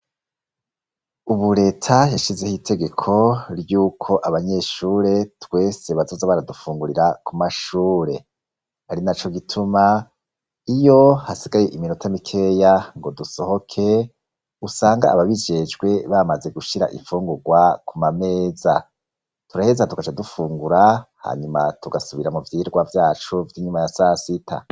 Ubu reta yashizeho itegeko ry'uko abanyeshure twese bazoza baradufungurira ku mashure ari na co gituma iyo hasigaye iminota mikeya ngo dusohoke usanga ababijejwe bamaze gushira ifungurwa ku mameza turaheza tukaja dufungura hanyuma tugasubira mu vyirwa vyacu vy'inyuma ya sasita.